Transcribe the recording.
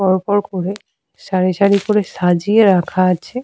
এখানে আমরা উনন দেখতে পাচ্ছি একটি।